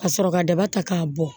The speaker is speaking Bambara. Ka sɔrɔ ka daba ta k'a bɔ